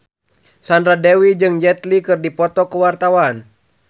Sandra Dewi jeung Jet Li keur dipoto ku wartawan